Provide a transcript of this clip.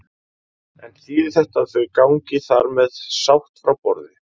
En þýðir þetta að þau gangi þar með sátt frá borði?